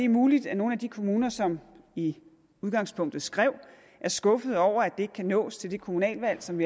muligt at nogle af de kommuner som i udgangspunktet skrev er skuffede over at det ikke kan nås til det kommunalvalg som